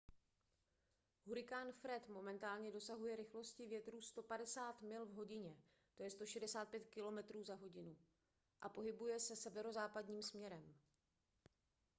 hurikán fred momentálně dosahuje rychlosti větru 150 mil v hodině 165 km/h a pohybuje se severozápadním směrem